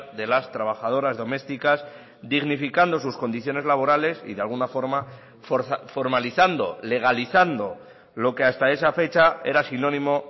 de las trabajadoras domésticas dignificando sus condiciones laborales y de alguna forma formalizando legalizando lo que hasta esa fecha era sinónimo